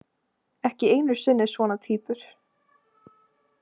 Ekki einu sinni svona týpur.